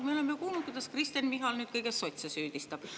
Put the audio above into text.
Me oleme kuulnud, kuidas Kristen Michal nüüd kõiges sotse süüdistab.